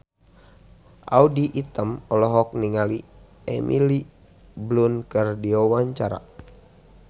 Audy Item olohok ningali Emily Blunt keur diwawancara